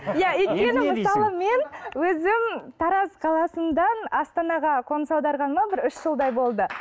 иә өйткені мысалы мен өзім тараз қаласынан астана қаласына қоныс аударғаныма бір үш жылдай болды